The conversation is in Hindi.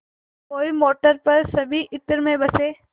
कोई मोटर पर सभी इत्र में बसे